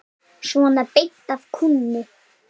Svona beint af kúnni.